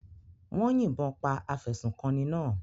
Wọ́n yìnbọn pa afẹ̀sùnkanni náà.